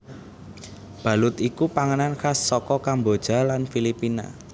Balut iku panganan khas saka Kamboja lan Filipina